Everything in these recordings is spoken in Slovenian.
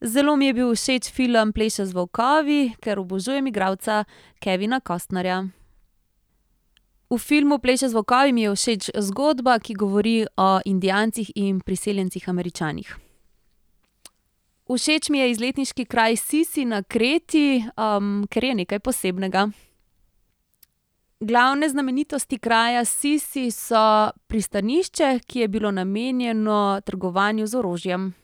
Zelo mi je bil všeč film Pleše z volkovi, ker obožujem igralca Kevina Costnerja. V filmu Pleše z volkovi mi je všeč zgodba, ki govori o Indijancih in priseljencih Američanih. Všeč mi je izletniški kraj Sisi na Kreti, ker je nekaj posebnega. Glavne znamenitosti kraja Sisi so pristanišče, ki je bilo namenjeno trgovanju z orožjem.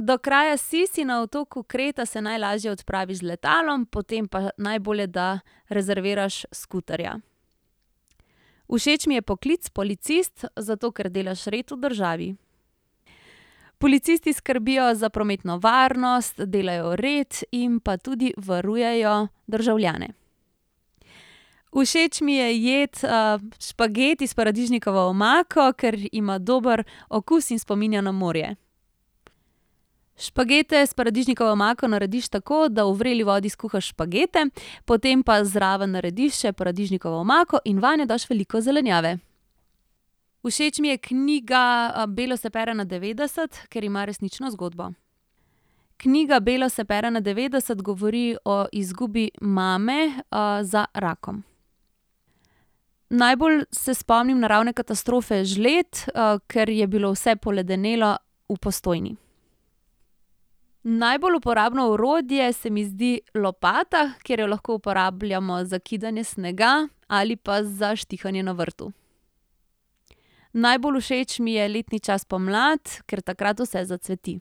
Do kraja Sisi na otoku Kreta se najlažje odpraviš z letalom, potem pa najbolje, da rezerviraš skuterja. Všeč mi je poklic policist, zato ker delaš red v državi. Policisti skrbijo za prometno varnost, delajo red in pa tudi varujejo državljane. Všeč mi je jed, špageti s paradižnikovo omako, ker ima dober okus in spominja na morje. Špagete s paradižnikovo omako narediš tako, da v vreli vodi skuhaš špagete, potem pa zraven narediš še paradižnikovo omako in vanjo daš veliko zelenjave. Všeč mi je knjiga, Belo se pere na devetdeset, ker ima resnično zgodbo. Knjiga Belo se pere na devetdeset govori o izgubi mame, za rakom. Najbolj se spomnim naravne katastrofe žled, ker je bilo vse poledenelo v Postojni. Najbolj uporabno orodje se mi zdi lopata, ker jo lahko uporabljamo za kidanje snega ali pa za štihanje na vrtu. Najbolj všeč mi je letni čas pomlad, kar takrat vse zacveti.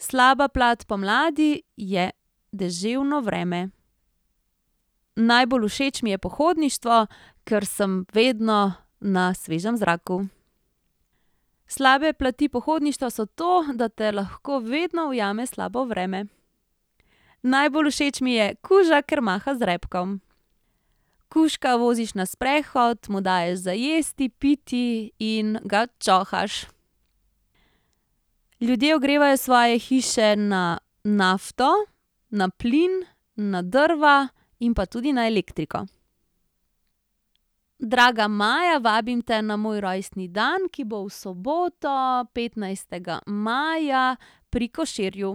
Slaba plat pomladi je deževno vreme. Najbolj všeč mi je pohodništvo, kar sem vedno na svežem zraku. Slabe plati pohodništva so to, da te lahko vedno ujame slabo vreme. Najbolj všeč mi je kuža, kar maha z repkom. Kužka voziš na sprehod, mu daješ za jesti, piti in ga čohaš. Ljudje ogrevajo svoje hiše na nafto, na plin, na drva in pa tudi na elektriko. Draga Maja, vabim te na moj rojstni dan, ki bo v soboto, petnajstega maja, pri Koširju.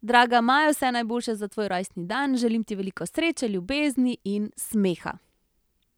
Draga Maja, vse najboljše za tvoj rojstni dan, želim ti veliko sreče, ljubezni in smeha.